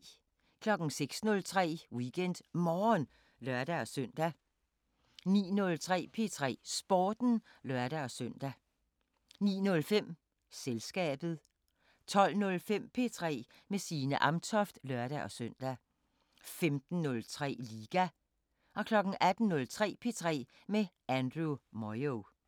06:03: WeekendMorgen (lør-søn) 09:03: P3 Sporten (lør-søn) 09:05: Selskabet 12:05: P3 med Signe Amtoft (lør-søn) 15:03: Liga 18:03: P3 med Andrew Moyo